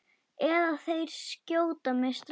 Eða þeir skjóta mig strax.